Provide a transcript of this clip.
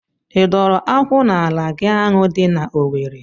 I dọrọ akwụ n'ala gị ahụ dị n'Owere?